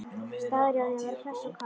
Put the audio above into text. Staðráðin í að vera hress og kát.